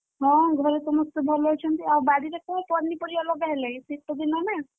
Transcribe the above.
ହଁ ଘରେ ସମସ୍ତେ ଭଲ ଅଛନ୍ତି ଆଉ ବାଡିରେ କଣ ପନିପରିବା ଲଗାହେଲାଣି ଶୀତ ଦିନ ନା?